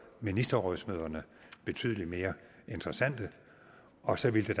ministerrådsmøderne betydelig mere interessante og så ville